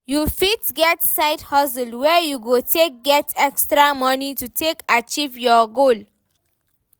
You fit get side hustle wey you go take get extra money to take achive your goal